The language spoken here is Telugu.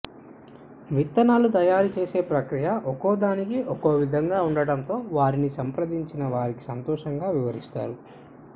విత్తనాలు తయారు చేసే ప్రక్రియ ఒక్కోదానికి ఒక్కో విధంగా ఉండటంతో వారిని సంప్రదించిన వారికి సంతోషంగా వివరిస్తారు